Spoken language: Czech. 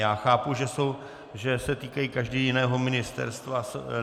Já chápu, že se týkají každý jiného ministerstva.